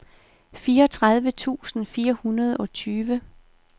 fireogtredive tusind fire hundrede og tyve